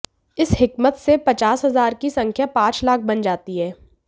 इस हिकमत से पचास हज़ार की संख्या पांच लाख बन जाती है